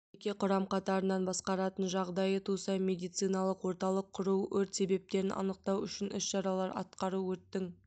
жеке құрам қатарынан басқаратын жағдайы туса медециналық орталық құру өрт себептерін анықтау үшін іс-шаралар атқару өрттің